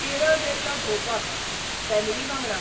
केरळ गेल्लो भोंवपाक, फॅमिली वांगडा.